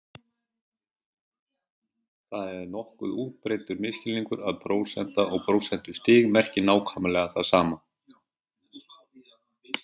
Það er nokkuð útbreiddur misskilningur að prósenta og prósentustig merki nákvæmlega það sama.